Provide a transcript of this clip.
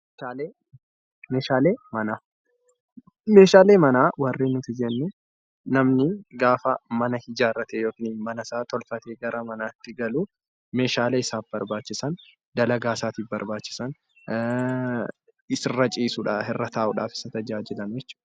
Meeshaalee manaa Meeshaalee manaa warreen nuti jennu namni gaafa mana ijaarrate yookiin mana isaa tolfatee gara isaatti galu Meeshaalee isaaf barbaachisan dalagaa isaatiif barbaachisan irraa ciisuudhaaf irraa ta'uudhaafis isaa tajaajilanii jechuudha